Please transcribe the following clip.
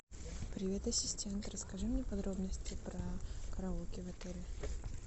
привет ассистент расскажи мне подробности про караоке в отеле